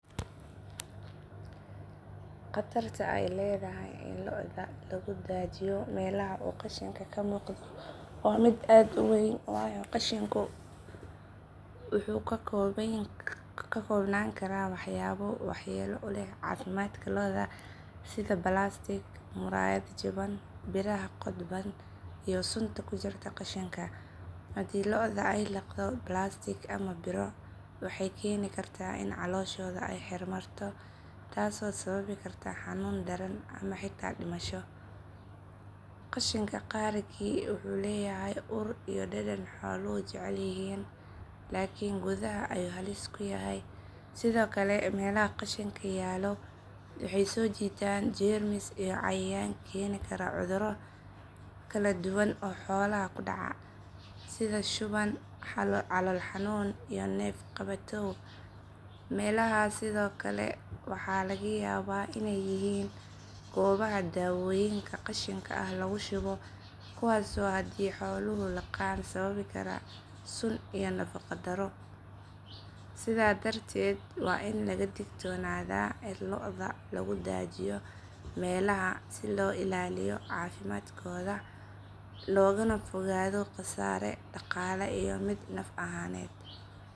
Khatarta ay leedahay in lo’da lagu daajiyo meelaha uu qashin ka muuqdo waa mid aad u weyn waayo qashinku wuxuu ka koobnaan karaa waxyaabo waxyeello u leh caafimaadka lo’da sida balaastiig, muraayad jaban, biraha qodban, iyo sunta ku jirta qashinka. Haddii lo’da ay liqdo balaastiig ama biro waxay keeni kartaa in calooshooda ay xirmato taasoo sababi karta xanuun daran ama xitaa dhimasho. Qashinka qaarkii wuxuu leeyahay ur iyo dhadhan xooluhu jecel yihiin laakiin gudaha ayuu halis ku yahay. Sidoo kale meelaha qashinka yaallo waxay soo jiitaan jeermis iyo cayayaan keeni kara cudurro kala duwan oo xoolaha ku dhaca sida shuban, calool xanuun iyo neef qabatow. Meelahaas sidoo kale waxaa laga yaabaa inay yihiin goobaha daawooyinka qashinka ah lagu shubo kuwaasoo haddii xooluhu liqaan sababi kara sun iyo nafaqo darro. Sidaa darteed waa in laga digtoonaado in lo’da lagu daajiyo meelahaas si loo ilaaliyo caafimaadkooda loogana fogaado khasaare dhaqaale iyo mid naf ahaaneed.